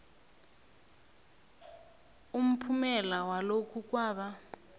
umphumela walokhu kwaba